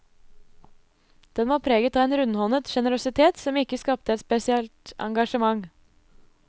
Den var preget av en rundhåndet generøsitet som ikke skapte et spesielt engasjement.